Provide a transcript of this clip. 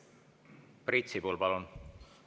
Priit Sibul, palun!